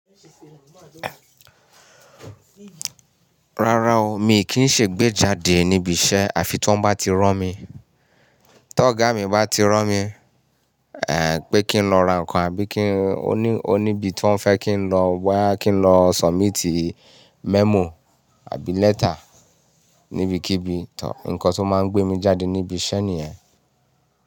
Rárá o, mi kì í ṣe gbé jáde níbi iṣẹ́ àfi tí wọ́n bá ti rán mi. Tí ọ̀gá mi bá ti rán mi, pé kí n lọ ra nǹkan àbí kí n oní, oníbi tí wọ́n fẹ́ kí n lọ wá, kí n lọ submit memo àbí letter níbikíbi, tọ̀, nǹkan tó máa ń gbé mi jáde níbi iṣẹ́ nìyẹn.